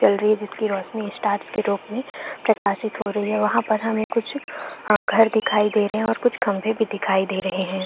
जल रही है जिस की रोशनी स्टार्स के रूप में प्रकाशित हो रही है वहाँ पर हमें कुछ घर दिखाई दे रहै है और कुछ खम्भे भी दिखाई दे रहै है।